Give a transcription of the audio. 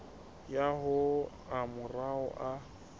ya ho a mararo a